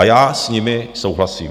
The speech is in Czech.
A já s nimi souhlasím.